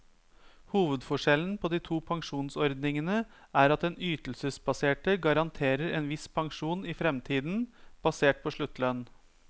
Hovedforskjellen på de to pensjonsordningene er at den ytelsesbaserte garanterer en viss pensjon i fremtiden, basert på sluttlønn.